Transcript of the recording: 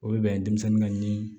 O bɛ bɛn denmisɛnnin ka ni